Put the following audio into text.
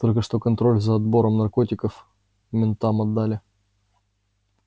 только что контроль за оборотом наркотиков ментам отдали